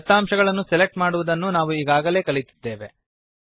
ದತ್ತಾಂಶಗಳನ್ನು ಸೆಲೆಕ್ಟ್ ಮಾಡುವುದನ್ನು ನಾವು ಈಗಾಗಲೇ ಕಲಿತಿದ್ದೇವೆ